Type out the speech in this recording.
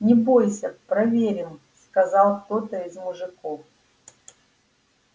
не бойся проверим сказал кто-то из мужиков